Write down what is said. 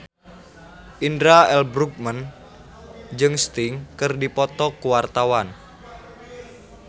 Indra L. Bruggman jeung Sting keur dipoto ku wartawan